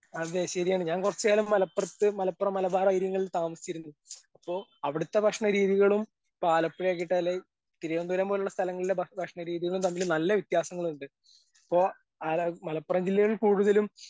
അതെ ശെരിയാണ് ഞാൻ കൊറച്ച് കാലം മലപ്പുറത്ത് മലപ്പുറം മലബാറേരിങ്ങള്ള് താമസിച്ചിരുന്നു അപ്പൊ അവിടുത്തെ ഭക്ഷണ രീതികളും ഇപ്പൊ ആലപ്പുഴ തിരുവനന്തപുരം പോലുള്ള സ്ഥലങ്ങളില് ഭ ഭക്ഷണ രീതികളും തമ്മില് നല്ല വ്യത്യാസങ്ങളിണ്ട് ഇപ്പൊ മലപ്പുറം ജില്ലയിൽ കൂടുതലും.